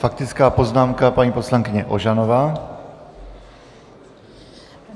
Faktická poznámka paní poslankyně Ožanové.